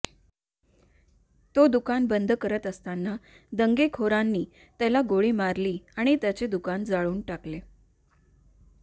तो दुकान बंद करत असताना दंगेखोरांनी त्याला गोळी मारली आणि त्याचे दुकान जाळून टाकले